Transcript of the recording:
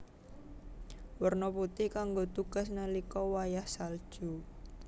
Werna putih kanggo tugas nalika wayah salju